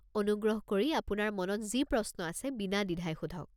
অনুগ্ৰহ কৰি আপোনাৰ মনত যি প্ৰশ্ন আছে বিনাদ্বিধাই সোধক।